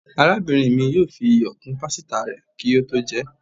Arábínrín mí yóò fí ìyọ kún pásítá rè kí o tó jé